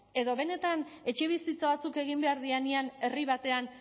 edo benetan etxebizitza batzuk egin behar direnean herri batean